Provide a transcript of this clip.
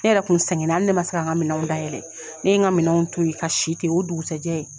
Ne yɛrɛ kun sɛgɛnna ali ne ma se k'an ka minɛnw dayɛlɛn, ne ye n ka minɛnw to i ka si ten o dugusɛjɛ.